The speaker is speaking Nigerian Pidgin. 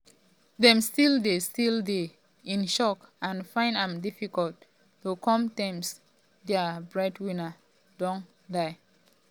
dem still dey still dey in shock and find am difficult to come to terms say dia breadwinner don die.